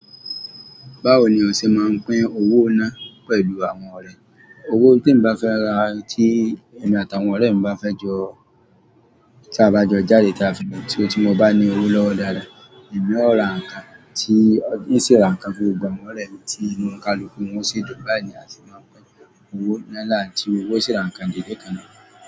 Báwo ni ọ̀sẹ̀ máa pín owó náà pẹ̀lú àwọn ọ̀rẹ́? Owó tí n bá fẹ́ rà, tí èmi àtàwọn ọ̀rẹ́ mi bá fẹ́ jọ, tí a bá jọ jáde táa fún ètùtù tí mo bá ní owó lọ́wọ́ dáadáa, èmi ó ra nǹkan tí ó ṣe é ra nǹkan fún gbogbo àwọn ọ̀rẹ́ mi tí inú kálukú wọn yóò sì dùn Báyìí ní a sì máa pín owó náà láti owó ó ṣe é ra nǹkan dìde kan náà.